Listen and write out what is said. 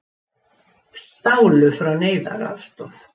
Stálu frá neyðaraðstoð